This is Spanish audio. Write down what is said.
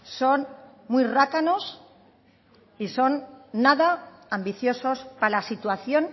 son muy rácanos y son nada ambiciosos para la situación